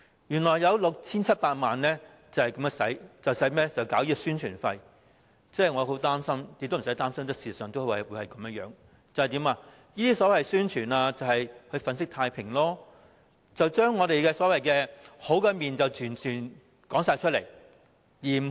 原來有 6,700 萬元是宣傳費用，我很擔心，其實亦無需擔心，因為事實上，這些宣傳必定是為了粉飾太平，只展示我們美好的一面，壞的一面則完全不提。